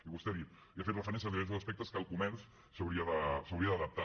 i vostè ha dit i ha fet referència als diversos aspectes a què el comerç s’hauria d’adaptar